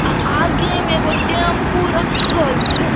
आ आगे में एगो टेम्पू रखल छै।